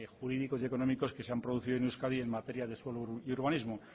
jurídicos y económicos que se han producido en euskadi en materia de suelo y urbanismo